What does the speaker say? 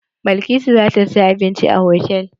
Balkisu za ta saya abinci a hotal.